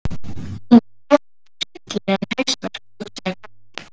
Hún fær örugglega hryllilegan hausverk, hugsaði Kobbi.